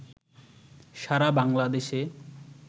সারা বাংলাদেশে